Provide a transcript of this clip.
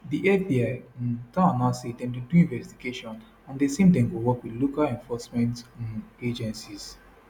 di fbi um don announce say dem dey do investigation and dem say dem dey work wit local law enforcement um agencies